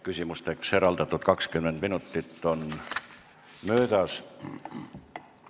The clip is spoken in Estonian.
Küsimusteks eraldatud 20 minutit on möödas.